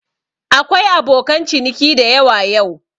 Akwai abokan ciniki dayawa yau.